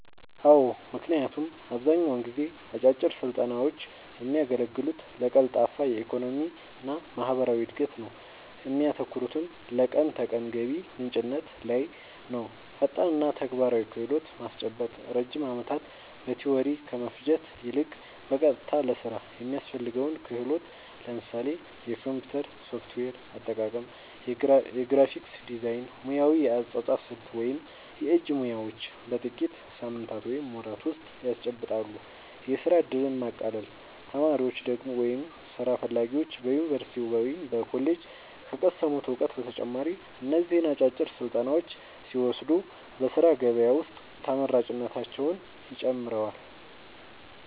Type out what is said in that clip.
አዎ ምክንያቱም አብዛኛውን ጊዜ አጫጭር ስልጠናውች የሚያገለግሉት ለቀልጣፋ የኢኮኖሚና ማህበራዊ እድገት ነው እሚያተኩሩትም ለቀን ተቀን ገቢ ምንጭነት ላይ ነውፈጣንና ተግባራዊ ክህሎት ማስጨበጥ ረጅም ዓመታት በቲዎሪ ከመፍጀት ይልቅ፣ በቀጥታ ለሥራ የሚያስፈልገውን ክህሎት (ለምሳሌ የኮምፒውተር ሶፍትዌር አጠቃቀም፣ የግራፊክስ ዲዛይን፣ ሙያዊ የአጻጻፍ ስልት ወይም የእጅ ሙያዎች) በጥቂት ሳምንታት ወይም ወራት ውስጥ ያስጨብጣሉ። የሥራ ዕድልን ማቃለል : ተማሪዎች ወይም ሥራ ፈላጊዎች በዩኒቨርሲቲ ወይም በኮሌጅ ከቀሰሙት እውቀት በተጨማሪ እነዚህን አጫጭር ስልጠናዎች ሲወስዱ በሥራ ገበያ ውስጥ ተመራጭነታቸውን ይጨምረዋል።